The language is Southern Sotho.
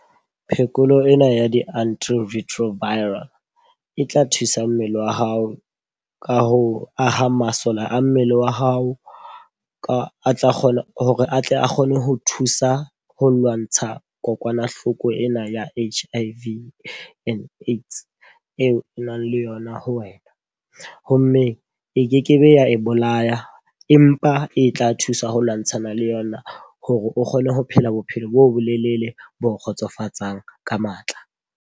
Phekolo ena ya di-antiretroviral, e tla thusa mmele wa hao ka ho aha masole a mmele wa hao. Ka a tla kgona hore atle a kgone ho thusa ho lwantsha kokwanahloko ena ya H_I_V and AIDS, eo e nang le yona ho wena. Ho mme e kekebe ya e bolaya empa e tla thusa ho lwantshana le yona hore o kgone ho phela bophelo bo bolelele bo kgotsofatsang ka matla.